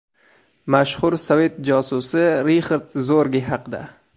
Mashhur sovet josusi Rixard Zorge haqida.